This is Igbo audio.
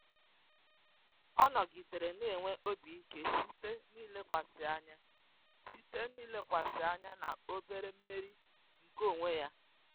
Ọ nọgidere na-enwe obi ike site n'ilekwasị anya site n'ilekwasị anya na obere mmeri nke onwe ya.